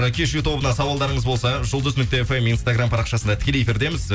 кешью тобына сауалдарыңыз болса жұлдыз нүкте фм инстаграм парақшасында тікелей эфирдеміз